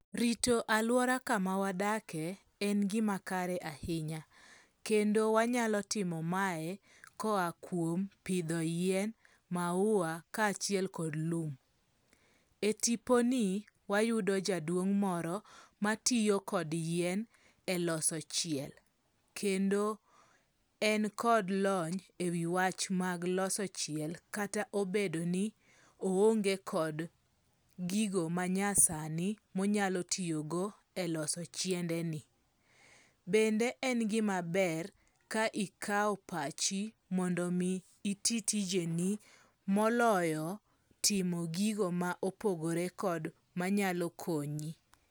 Rito alwora kama wadake en gima kare ahinya, kendo wanyalo timo mae koa kuom pidho yien, maua, kaachiel kod lum. E tiponi wayudo jaduong' moro matiyo kod yien e loso chiel, kendo en kod lony e wi wach mag loso chiel kata obedo ni oonge kod gigo manyasani monyalo tiyogo e loso chiendeni. Bende en gima ber ka ikawo pachi mondomi iti tijeni moloyo timo gigo ma opogore kod manyalo konyi.